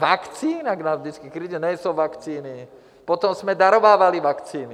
Vakcína, jak nás vždycky kriti, nejsou vakcíny, potom jsme darovávali vakcíny.